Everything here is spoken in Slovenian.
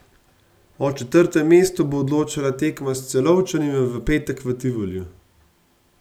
O četrtem mestu bo odločala tekma s Celovčani v petek v Tivoliju.